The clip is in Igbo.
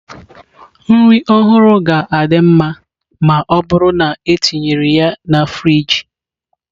Nri ọhụrụ ga-adị mma ma ọ bụrụ na etinyere ya na friji.